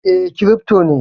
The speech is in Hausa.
E, kirifto ne